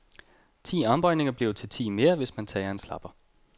Ti armbøjninger bliver til ti mere, hvis man tager en slapper.